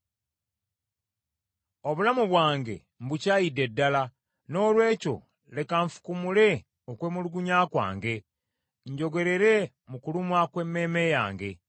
“Obulamu bwange mbukyayidde ddala, noolwekyo leka nfukumule okwemulugunya kwange, njogerere mu kulumwa kw’emmeeme yange.